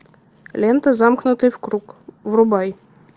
лента замкнутый в круг врубай